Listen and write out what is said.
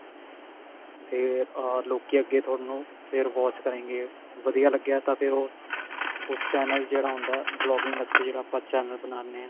ਫ਼ੇਰ ਅਹ ਲੋਕੀ ਅੱਗੇ ਥੋਨੂੰ ਫ਼ੇਰ watch ਕਰੇਂਗੇ ਵਧੀਆ ਲੱਗਿਆ ਤਾਂ ਫ਼ੇਰ ਉਹ ਉਸ channel ਜਿਹੜਾ ਹੁੰਦਾ blogging ਵਾਸਤੇ ਜਿਹੜਾ ਆਪਾਂ channel ਬਣਾਉਂਦੇ ਹਾਂ